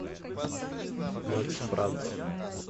макс брант